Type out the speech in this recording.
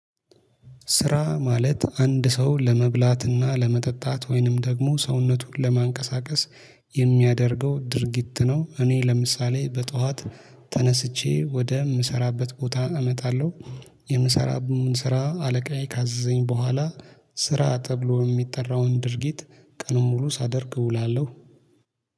ስራ ማለት አንድ ሰው ለመብላትና ለመጠጣት ወይንም ደግሞ ሰውነቱን ለማንቀሳቀስ የሚያደርገው ድርጊት ነው። እኔ ለምሳሌ በጠዋት ተነስቼ ወደ የምሰራበት ቦታ እመጣለሁ። የምሰራውን ስራ አለቃዬ ካዘዘኝ በኋላ ስራ ተብሎ የሚጠራውን ድርጊት ቀን ሙሉ ሳደርግ እውላለሁ።